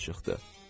Uduzduq.